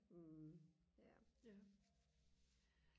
ja